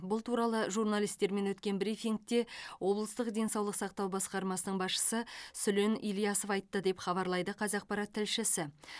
бұл туралы журналистермен өткен брифингте облыстық денсаулық сақтау басқармасының басшысы сүлен ілясов айтты деп хабарлайды қазақпарат тілшісі